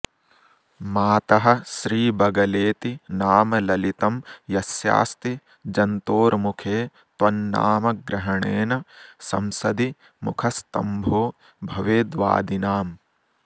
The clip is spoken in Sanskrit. मातः श्रीबगलेति नाम ललितं यस्यास्ति जन्तोर्मुखे त्वन्नामग्रहणेन संसदि मुखस्तम्भो भवेद्वादिनाम्